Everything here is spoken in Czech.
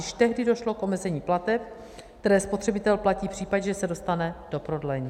Již tehdy došlo k omezení plateb, které spotřebitel platí v případě, že se dostane do prodlení.